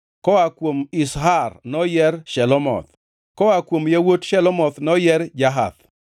Koa kuom Izhar noyier Shelomoth; koa kuom yawuot Shelomoth noyier Jahath.